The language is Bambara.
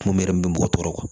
Mun yɛrɛ bɛ mɔgɔ tɔɔrɔ